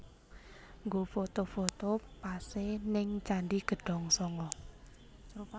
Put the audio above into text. Nggo foto foto pase ning Candi Gedong Sanga